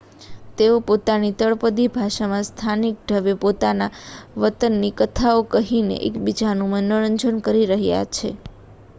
તેઓ પોતાની તળપદી ભાષામાં સ્થાનિક ઢબે પોતાના વતનની કથાઓ કહીને એકબીજાનું મનોરંજન કરી રહ્યા છે